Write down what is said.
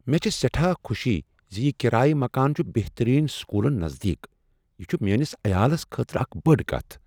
مےٚ چھےٚ سٮ۪ٹھاہ خٗشی ز یہ کرایہ مکان چھ بہتٔریٖن سکوٗلن نزدیٖک۔ یہ چھ میٛٲنس عیالس خٲطرٕ اکھ بٔڑ کتھ۔